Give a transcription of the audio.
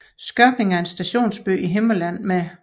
Skørping er en stationsby i Himmerland med